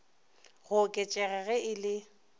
go oketšega ge e le